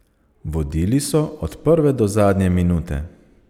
Vodili so od prve do zadnje minute.